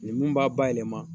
O ni min b'a bayɛlɛma